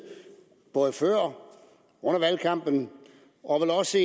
både før og under valgkampen og vel også